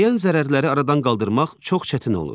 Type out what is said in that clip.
Dəyən zərərləri aradan qaldırmaq çox çətin olur.